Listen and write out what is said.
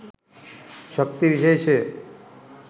ශක්ති විශේෂය